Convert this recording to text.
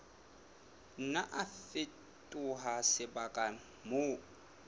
nna a fetoha sebaka moo